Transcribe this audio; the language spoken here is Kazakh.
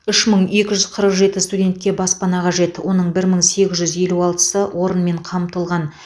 үш мың екі жүз қырық жеті студентке баспана қажет оның бір мың сегіз жүз елу алтысы орынмен қамтылған